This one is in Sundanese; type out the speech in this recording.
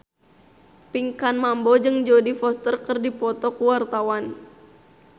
Pinkan Mambo jeung Jodie Foster keur dipoto ku wartawan